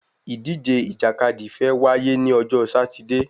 Ìdíje ìjàkadì fe wá yé ni ojo Sátidé